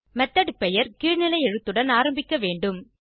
method பெயர் கீழ்நிலை எழுத்துடன் ஆரம்பிக்க வேண்டும்